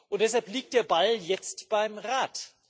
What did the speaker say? Und deshalb liegt der Ball jetzt beim Rat.